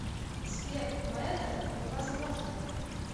сбер но это невозможно